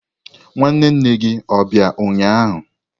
Nwanne nne gi o bia ụnyahụ?